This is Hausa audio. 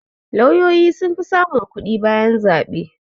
Lauyoyi sun fi samun kuɗi bayan zaɓe